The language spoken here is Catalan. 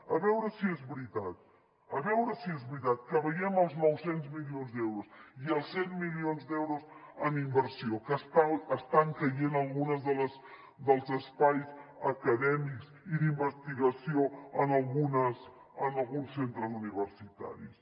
a veure si és veritat a veure si és veritat que veiem els nou cents milions d’euros i els cent milions d’euros en inversió que estan caient alguns dels espais acadèmics i d’investigació en alguns centres universitaris